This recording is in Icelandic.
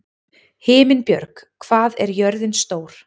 Himinbjörg, hvað er jörðin stór?